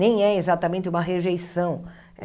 Nem é exatamente uma rejeição.